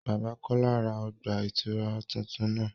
Bàbà Kọla rá ọgba-itura tuntun náà